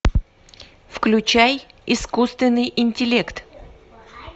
включай искусственный интеллект